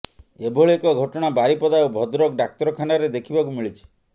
ଏଭଳି ଏକ ଘଟଣା ବାରିପଦା ଓ ଭଦ୍ରକ ଡାକ୍ତରଖାନାରେ ଦେଖିବାକୁ ମିଳିଛି